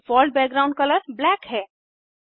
default background colour black है